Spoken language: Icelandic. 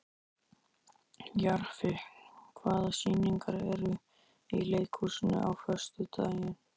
Jarfi, hvaða sýningar eru í leikhúsinu á föstudaginn?